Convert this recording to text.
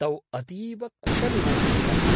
तौ अतीव कुशलिनौ स्तः।